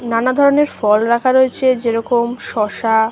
নানাধরণের ফল রাখা রয়েছে যে রকম শসা।